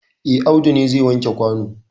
E, Audu ne zai wanke kwano.